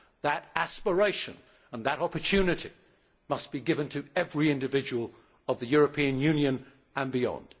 That aspiration and that opportunity must be given to every individual of the European Union and beyond.